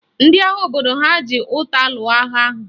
Ndị agha obodo ha ji ụta lụọ agha ahụ